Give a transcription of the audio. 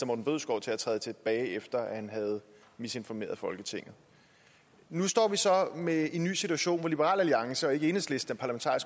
morten bødskov til at træde tilbage efter at han havde misinformeret folketinget nu står vi så med en ny situation hvor liberal alliance og ikke enhedslisten er